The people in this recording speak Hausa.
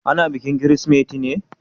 Ana bikin Kirsimeti ne?